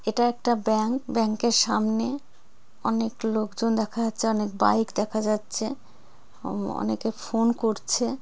এটা একটা bank bank এর সামনে অনেক লোক জন দেখা যাচ্ছে অনেক বাইক দেখা যাচ্ছে উমম অনেকে ফোন করছে।